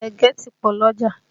Ẹ̀gẹ́ ti pọ lọ́jà